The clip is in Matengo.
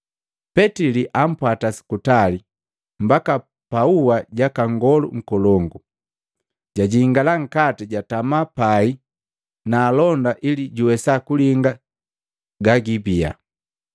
Petili ampwata sukutali mbaka paua jaka Nngolu nkolongu. Jajingala nkati jatama pai na alonda ili juwesa kulinga gagiibiya.